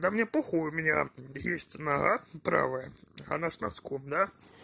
да мне похуй у меня есть нога правая она с носком да